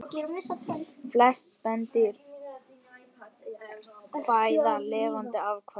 Flest spendýr fæða lifandi afkvæmi